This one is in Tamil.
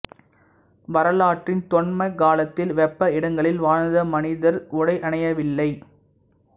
வரலாற்றின் தொன்ம காலத்தில் வெப்ப இடங்களில் வாழ்ந்த மனிதர் உடையணியவில்லை